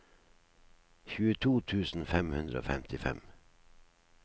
tjueto tusen fem hundre og femtifem